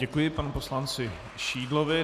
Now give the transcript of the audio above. Děkuji panu poslanci Šídlovi.